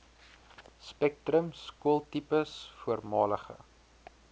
spektrum skooltipes voormalige